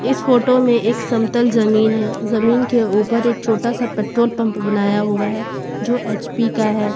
इस फोटो एक समतल जमीन है जमीन के ऊपर एक छोटा सा पेट्रोल पंप बनाया हुआ है जो एच_पी का है।